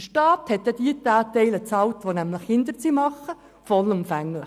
Der Staat zahlte den Teil derjenigen, die Verluste erzielten, vollumfänglich.